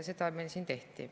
Seda meil siin tehti.